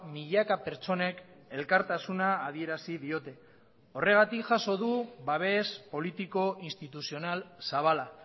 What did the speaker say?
milaka pertsonek elkartasuna adierazi diote horregatik jaso du babes politiko instituzional zabala